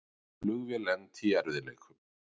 Flugvél lenti í erfiðleikum